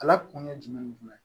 Ala kun ye jumɛn ni jumɛn ye